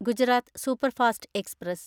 Gujarat superfast express